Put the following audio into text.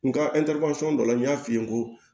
Nga dɔ la n y'a f'i ye n ko